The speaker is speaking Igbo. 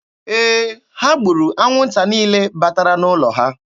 Ee, ha gburu anwụnta niile batara n'ụlọ ha.